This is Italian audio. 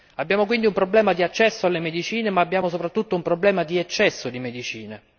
Abbiamo quindi un problema di accesso alle medicine, ma abbiamo soprattutto un problema di eccesso di medicine.